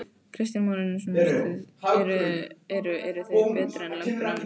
Kristján Már Unnarsson: Eru, eru þau betri en lömbin annarsstaðar?